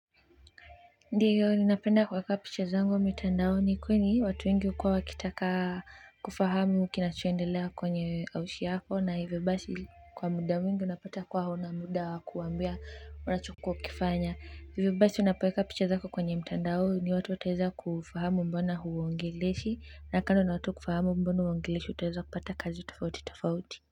Ndiyo ninapenda kuweka picha zangu mtandaoni kwani watu wengi uko wakitaka kufahamu kinachoendelea kwenye kazi yako, na hivyo basi, kwa muda mwingi unapata kuwa huna muda wa kuwaambia. Kukifanya hivyo basi, unapoweka picha zako kwenye mtandao, watu wataweza kufahamu mbona huwaongeleshi na kando na watu kufahamu, utaweza pia kupata kazi tofauti tofauti.